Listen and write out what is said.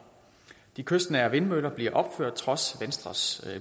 de kystnære vindmøller bliver opført trods venstres